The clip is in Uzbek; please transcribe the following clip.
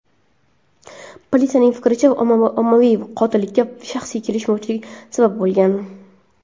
Politsiyaning fikricha, ommaviy qotillikka shaxsiy kelishmovchilik sabab bo‘lgan.